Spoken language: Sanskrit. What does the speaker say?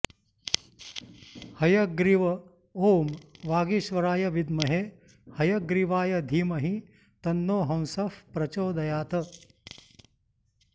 हयग्रीव ॐ वागीश्वराय विद्महे हयग्रीवाय धीमहि तन्नो हंसः प्रचोदयात्